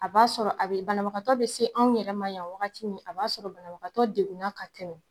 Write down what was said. A b'a sɔrɔ a be banabagatɔ be se anw yɛrɛma yan wagati min a b'a sɔrɔ banabagatɔ degunna ka tɛmɛ